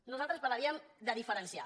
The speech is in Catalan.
nosaltres parlaríem de diferenciar